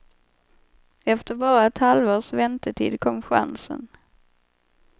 Efter bara ett halvårs väntetid kom chansen.